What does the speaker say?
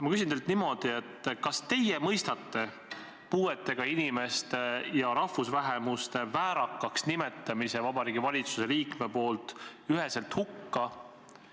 Ma küsin teilt niimoodi: kas teie mõistate puuetega inimeste ja rahvusvähemuste väärakaks nimetamise Vabariigi Valitsuse liikme poolt üheselt hukka?